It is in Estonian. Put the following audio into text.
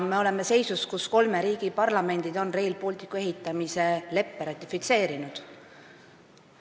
Me oleme seisus, kus kolme riigi parlamendid on Rail Balticu ehitamise leppe ratifitseerinud.